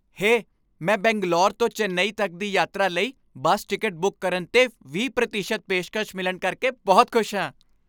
ਹੇ! ਮੈਂ ਬੰਗਲੌਰ ਤੋਂ ਚੇਨਈ ਤੱਕ ਦੀ ਯਾਤਰਾ ਲਈ ਬੱਸ ਟਿਕਟ ਬੁੱਕ ਕਰਨ 'ਤੇ ਵੀਹ ਪ੍ਰਤੀਸ਼ਤ ਪੇਸ਼ਕਸ਼ ਮਿਲਣ ਕਰਕੇ ਬਹੁਤ ਖੁਸ਼ ਹਾਂ।